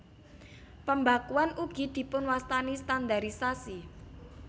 Pembakuan ugi dipunwastani standarisasi